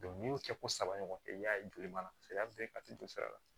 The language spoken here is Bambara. n'i y'o kɛ ko saba ɲɔgɔn kɛ i y'a ye joli b'a la paseke a bɛ a tɛ jɔ sira la